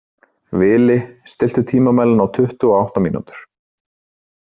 Vili, stilltu tímamælinn á tuttugu og átta mínútur.